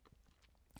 DR K